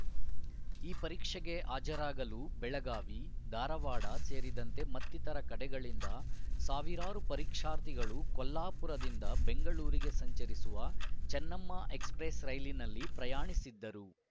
ಈ ಪರೀಕ್ಷೆಗೆ ಹಾಜರಾಗಲು ಬೆಳಗಾವಿ ಧಾರವಾಡ ಸೇರಿದಂತೆ ಮತ್ತಿತರ ಕಡೆಗಳಿಂದ ಸಾವಿರಾರು ಪರೀಕ್ಷಾರ್ಥಿಗಳು ಕೊಲ್ಲಾಪುರದಿಂದ ಬೆಂಗಳೂರಿಗೆ ಸಂಚರಿಸುವ ಚೆನ್ನಮ್ಮ ಎಕ್ಸ್‌ಪ್ರೆಸ್‌ ರೈಲಿನಲ್ಲಿ ಪ್ರಯಾಣಿಸಿದ್ದರು